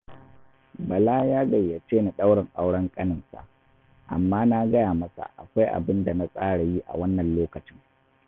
Bala ya gayyace ni ɗaurin auren ƙaninsa, amma na gaya masa akwai abin da na tsara yi a wannan lokacin